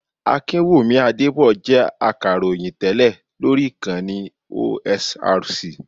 Akinwumi Adébọ̀ jẹ́ Akàròyìn tẹ́lẹ̀ lóri Ìkànnì OSRC.